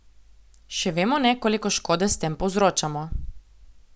Še vemo ne, koliko škode s tem povzročamo.